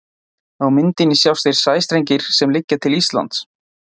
Á myndinni sjást þeir sæstrengir sem liggja til Íslands.